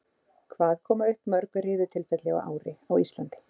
Hvað koma upp mörg riðutilfelli á ári á Íslandi?